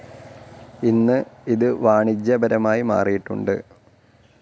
ഇന്ന്, ഇത് വാണിജ്യപരമായി മാറിയിട്ടുണ്ട്.